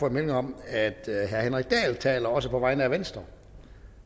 en melding om at herre henrik dahl taler også på vegne af venstre